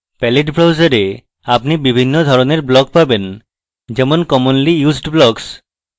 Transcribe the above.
palette browser এ আপনি বিভিন্ন ধরনের blocks পাবেন যেমন commonly used blocks